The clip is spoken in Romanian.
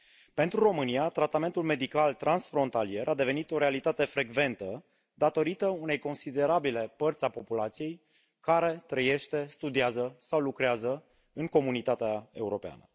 Pentru România, tratamentul medical transfrontalier a devenit o realitate frecventă datorită unei considerabile părți a populației care trăiește, studiază sau lucrează în Comunitatea Europeană.